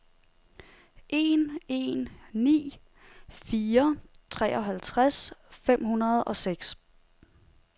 en en ni fire treoghalvtreds fem hundrede og seks